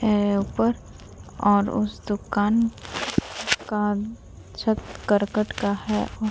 है ऊपर और उस दुकान का छत कर्कट का है।